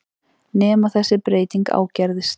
Nema þessi breyting ágerðist.